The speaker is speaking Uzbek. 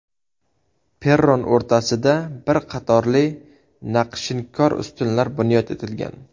Perron o‘rtasida bir qatorli naqshinkor ustunlar bunyod etilgan.